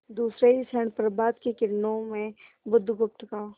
दूसरे ही क्षण प्रभात की किरणों में बुधगुप्त का